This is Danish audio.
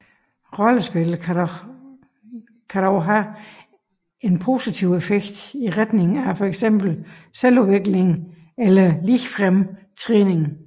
Rollespil kan dog have en positiv effekt i retning af fx selvudvikling eller ligefrem træning